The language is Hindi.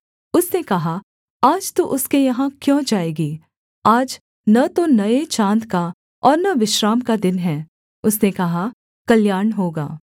उसने कहा आज तू उसके यहाँ क्यों जाएगी आज न तो नये चाँद का और न विश्राम का दिन है उसने कहा कल्याण होगा